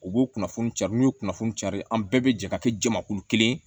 U b'o kunnafoni cari n'u ye kunnafoni cari an bɛɛ bɛ jɛ ka kɛ jamakulu kelen ye